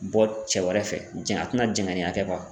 Bɔ cɛ wɛrɛ fɛ jɛn a tɛna jɛngɛneya kɛ